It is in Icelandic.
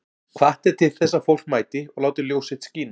Hvatt er til þess að fólk mæti og láti ljós sitt skína